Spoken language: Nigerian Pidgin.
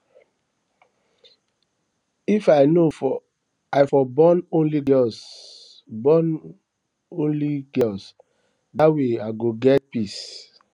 if i know i for born only girls born only girls dat way i go get peace